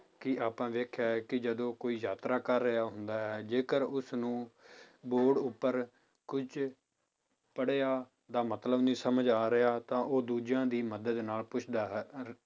ਕਿ ਆਪਾਂ ਵੇਖਿਆ ਹੈ ਕਿ ਜਦੋਂ ਕੋਈ ਯਾਤਰਾ ਕਰ ਰਿਹਾ ਹੁੰਦਾ ਹੈ ਜੇਕਰ ਉਸਨੂੰ ਬੋਰਡ ਉੱਪਰ ਕੁੱਝ ਪੜ੍ਹਿਆ ਦਾ ਮਤਲਬ ਨਹੀਂ ਸਮਝ ਆ ਰਿਹਾ ਤਾਂ ਉਹ ਦੂਜਿਆਂ ਦੀ ਮਦਦ ਨਾਲ ਪੁੱਛਦਾ ਹੈ ਰ~